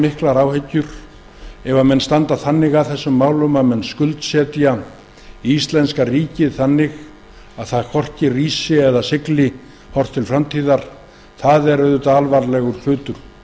miklar áhyggjur af því ef menn skuldsetja íslenska ríkið svo að það hvorki rísi né sigli ef horft er til framtíðar það er auðvitað alvarlegur hlutur